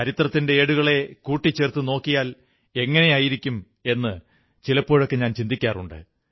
ചരിത്രത്തിന്റെ ഏടുകളെ കൂട്ടിച്ചേർത്തു നോക്കിയാലെങ്ങനെ എന്നു ഞാൻ ചിലപ്പോഴൊക്കെ ചിന്തിക്കാറുണ്ട്